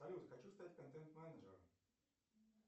салют хочу стать контент менеджером